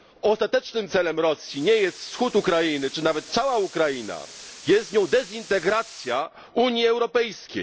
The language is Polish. Ostatecznym celem Rosji nie jest wschód Ukrainy czy nawet cała Ukraina, jest nią dezintegracja Unii Europejskiej.